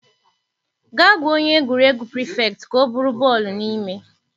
Gaa gwa onye egwuregwu prịfektịị ka ọ buru bọọlụ n'ime.